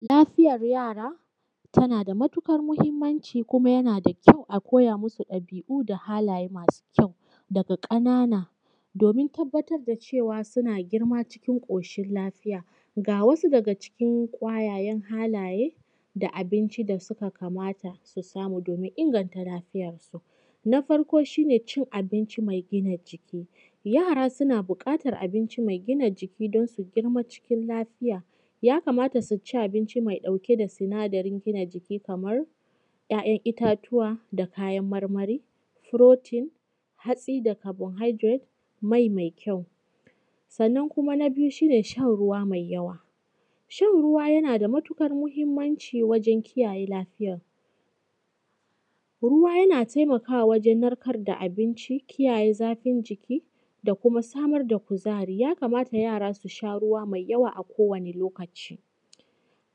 Lafiyar yara tana da matuƙar muhimmanci. Kuma yana da kyau a koya musu ɗabi’u da hallaye masu kyau daga ƙanana domin tabbatar da cewa suna girma cikin ƙoshin lafiya. Ga wasu daga cikin kyawawan halaye da abinci da suka kamata su samu domin inganta lafiyarsu. Na farko shi ne cin abinci mai gina jiki. Yara suna buƙatan abinci mai gina jiki don su girma cikin lafiya. Ya kamata su ci abinci mai ɗauke da sinadarin gina jiki, kaman ‘yayan itatuwa, da kayan marmari, protein, hatsi, da carbohydrate, mai mai kyau. Sannan kuma na biyu shi ne shan ruwa mai yawa. Shan ruwa yana da matuƙar muhimmanci wajan kiyaye lafiya. Ruwa yana taimakawa wajan narkar da abinci, kiyaye zafin jiki, da kuma samar da kuzari. Ya kamata yara su sha ruwa mai yawa a kowani lokaci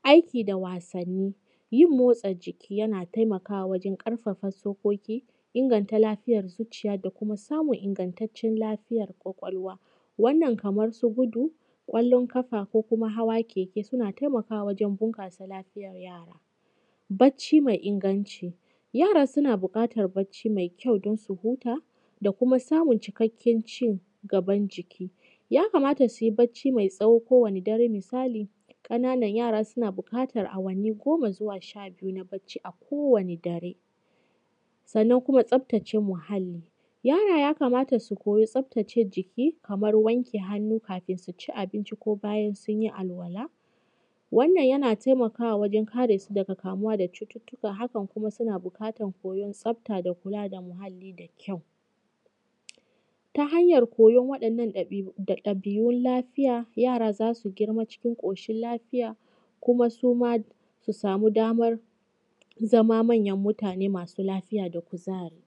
aiki da wasanni. Yin motsa jiki yana taimakawa wajan ƙarfafa tsokoki, inganta lafiyar zuciya, da kuma samun ingantaccen lafiyar ƙwaƙwalwa. Wannan kaman su gudu, ƙwallon kafa, ko kuma hawa keke. Suna taimakawa wajen bunƙasa lafiyar yara. Bacci mai inganci. Yara suna buƙatan bacci mai kyau don su huta da kuma samun cikakken cigaban jiki. Ya kamata su bacci mai tsawo kowane dare. Misali ƙananan yara suna buƙatan awanni goma zuwa sha biyu na bacci a kowane dare. Sannan kuma tsaftace muhalli, yara ya kamata su koyi tsaftace jiki kamar wanke hannu kafin su ci abinci ko bayan sun yi alola, wannan yana taimakawa wajan kare su daga kamuwa da cututtuka. Hakan kuma suna buƙatan koyan tsafta da kula da muhalli, da kyau ta hanyan koyon waɗannan ɗabi’un lafiya, yara za su girma cikin ƙoshin lafiya, kuma suma su samu damar zama manyan mutane masu lafiya da kuzari.